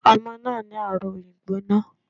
Omo náà ní àrùn ìgbóná